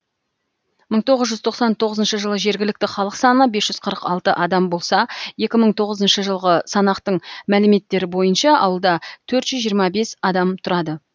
мың тоғыз жүз тоқсан тоғызыншы жылы жергілікті халық саны бес жүз қырық алты адам болса екі мың тоғызыншы жылғы санақтың мәліметтері бойынша ауылда төрт жүз жиырма бес адам тұрады